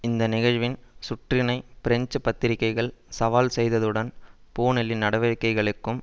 இந்த நிகழ்வின் சுற்றினை பிரெஞ்சு பத்திரிகைகள் சவால் செய்ததுடன் பூனெலின் நடவடிக்கைகளுக்கும்